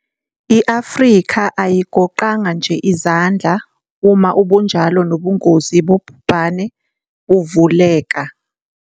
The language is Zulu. I-Afrika ayigoqanga nje izandla uma ubunjalo nobungozi bobhubhane buvuleka.